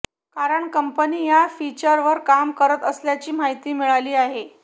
कारण कंपनी या फिचरवर काम करत असल्याची माहिती मिळाली आहे